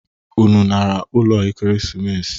Unu nara ụlọ Ekeresimesi?